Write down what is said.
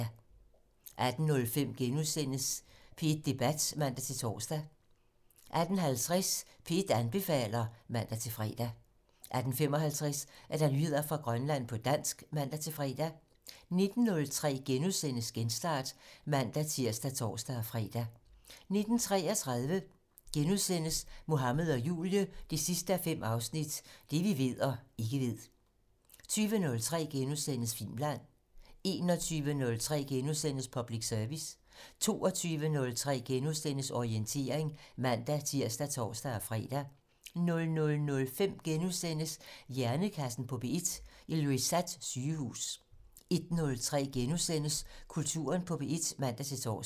18:05: P1 Debat *(man-tor) 18:50: P1 anbefaler (man-fre) 18:55: Nyheder fra Grønland på dansk (man-fre) 19:03: Genstart *(man-tir og tor-fre) 19:33: Mohammed og Julie 5:5 - Det vi ved og ikke ved * 20:03: Filmland * 21:03: Public Service * 22:03: Orientering *(man-tir og tor-fre) 00:05: Hjernekassen på P1: Ilulissat Sygehus * 01:03: Kulturen på P1 *(man-tor)